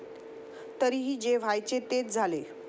तरीही जे व्हायचे तेच झाले.